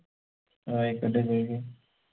ആയിക്കോട്ടെ ചോയിക്ക്